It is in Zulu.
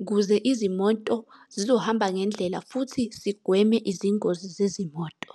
ukuze izimoto zizohamba ngendlela futhi sigweme izingozi zezimoto.